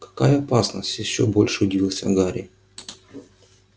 какая опасность ещё больше удивился гарри